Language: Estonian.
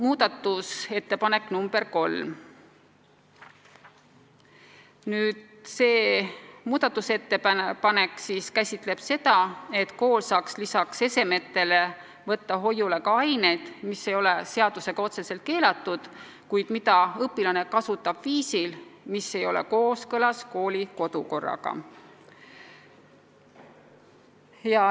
Muudatusettepanek nr 3 käsitleb seda, et kool saaks lisaks esemetele võtta hoiule ka ained, mis ei ole seadusega otseselt keelatud, kuid mida õpilane kasutab viisil, mis ei ole kooskõlas kooli kodukorraga.